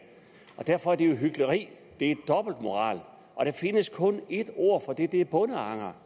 derfor er det jo hykleri det er dobbeltmoral og der findes kun et ord for det og det er bondeanger